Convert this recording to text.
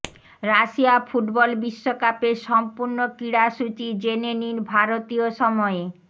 Russia football বিশ্বকাপের সম্পূর্ণ ক্রীড়াসূচি জেনে নিন ভারতীয় সময়ে